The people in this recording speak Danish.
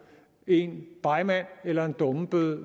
en begmand eller en dummebøde